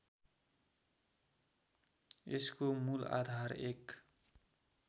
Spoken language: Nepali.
यसको मूलआधार एक